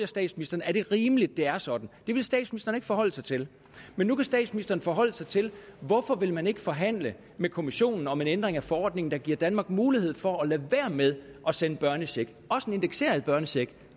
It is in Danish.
statsministeren er det rimeligt at det er sådan det ville statsministeren ikke forholde sig til men nu kan statsministeren forholde sig til hvorfor vil man ikke forhandle med kommissionen om en ændring af forordningen der giver danmark mulighed for at lade være med at sende børnecheck også en indekseret børnecheck